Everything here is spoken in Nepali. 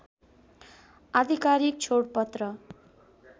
अधिकारीक छोडपत्र